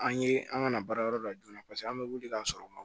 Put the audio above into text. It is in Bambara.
An ye an ka na baarayɔrɔ la joona paseke an bɛ wuli ka sɔrɔ